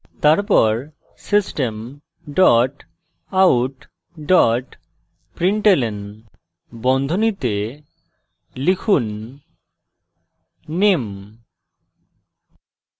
তারপর system dot out dot println বন্ধনীতে লিখুন name